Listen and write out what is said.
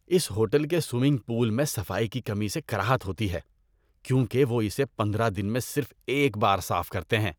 اس hotel کے swimming pool میں صفائی کی کمی سے کراہیت ہوتی ہے کیونکہ وہ اسے پندرہ دن میں صرف ایک بار صاف کرتے ہیں۔